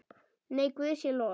Nei, Guði sé lof.